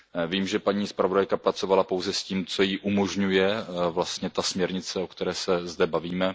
Vím, že paní zpravodajka pracovala pouze s tím, co jí umožňuje vlastně ta směrnice, o které se zde bavíme.